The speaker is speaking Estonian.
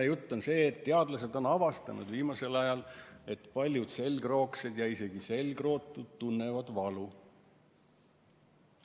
Ja jutt on sellest, et teadlased on viimasel ajal avastanud, et paljud selgroogsed ja isegi selgrootud tunnevad valu.